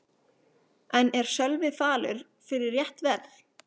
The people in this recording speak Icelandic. En er Sölvi falur fyrir rétt verð?